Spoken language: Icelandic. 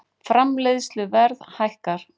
Framleiðsluverð hækkar